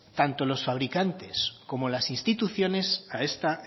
tanto los fabricantes como las instituciones a esta